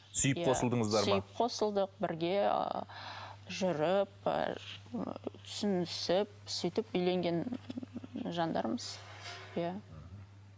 сүйіп қосылдыңыздар сүйіп қосылдық бірге ы жүріп ы түсінісіп сөйтіп үйленген жандармыз иә